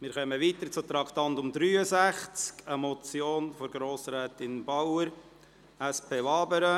Wir fahren weiter und kommen zum Traktandum 63, eine Motion von Grossrätin Bauer, SP, Wabern.